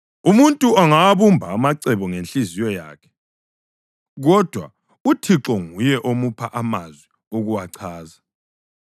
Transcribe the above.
Umuntu angawabumba amacebo ngenhliziyo yakhe, kodwa uThixo nguye omupha amazwi okuwachaza.